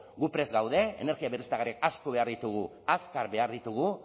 gu prest gaude energia berriztagarriak asko behar ditugu azkar behar ditugu